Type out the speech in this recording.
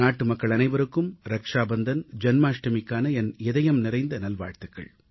நாட்டுமக்கள் அனைவருக்கும் ரக்ஷாபந்தன் ஜென்மாஷ்டமிக்கான என் இதயம் நிறை நல்வாழ்த்துகள்